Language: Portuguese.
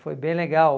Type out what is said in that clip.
Foi bem legal.